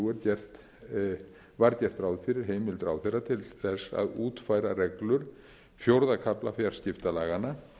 og þrjú var gert ráð fyrir heimild ráðherra til þess að útfæra reglur fjórða kafla fjarskiptalaganna